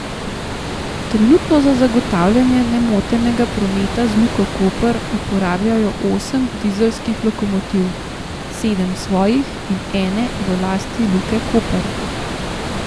Trenutno za zagotavljanje nemotenega prometa z Luko Koper uporabljajo osem dizelskih lokomotiv, sedem svojih in ene v lasti Luke Koper.